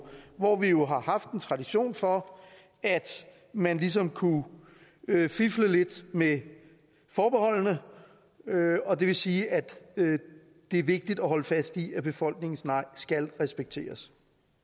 hvor vi jo har haft en tradition for at man ligesom kunne fifle lidt med forbeholdene og det vil sige at det er vigtigt at holde fast i at befolkningens nej skal respekteres